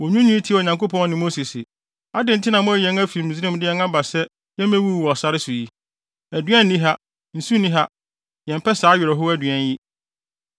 wonwiinwii tiaa Onyankopɔn ne Mose se, “Adɛn nti na moayi yɛn afi Misraim de yɛn aba sɛ yemmewuwu wɔ sare yi so? Aduan nni ha! Nsu nni ha! Yɛmpɛ saa awerɛhow aduan yi!”